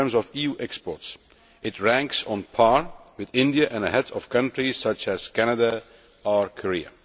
In terms of EU exports, it ranks on a par with India and ahead of countries such as Canada or Korea.